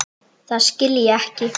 Það skil ég ekki.